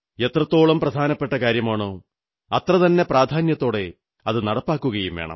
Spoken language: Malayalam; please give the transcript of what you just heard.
എത്രത്തോളം പ്രധാനപ്പെട്ട കാര്യമാണോ അത്രതന്നെ പ്രാധാന്യത്തോടെ അതു നടപ്പാക്കുകയും വേണം